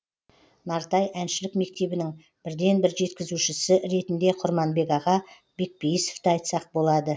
нартай әншілік мектебінің бірден бір жеткізушісі ретінде құрманбек аға бекпейісовті айтсақ болады